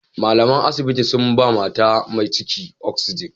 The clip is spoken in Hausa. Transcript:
Malaman asibiti sun ba mata mai ciki "oxytocin".